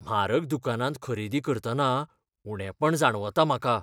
म्हारग दुकानांत खरेदी करतना उणेपण जाणवता म्हाका.